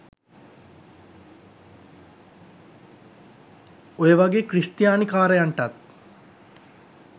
ඔය වගේ ක්‍රිස්තියානි කාරයන්ටත්